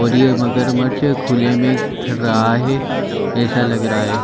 और ये मगरमच्छ खुले में फिर रहा है ऐसा लग रहा है।